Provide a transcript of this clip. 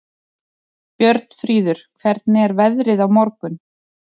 Björnfríður, hvernig er veðrið á morgun?